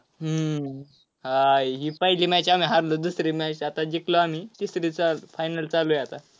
हम्म आह ही पहिली match आम्ही हारलो, दुसरी match आता जिकलो आम्ही, तिसरी चा~ final चालू आहे आता.